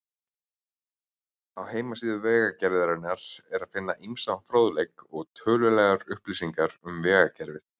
Á heimasíðu Vegagerðarinnar er að finna ýmsan fróðleik og tölulegar upplýsingar um vegakerfið.